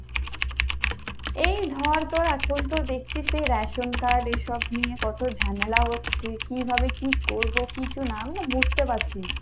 এই ধর তোর এখন তো দেখছিস যে রেশন card এইসব নিয়ে কত ঝামেলা হচ্ছে কিভাবে কী করবো কিছু আমি না বুজতে পারছি না।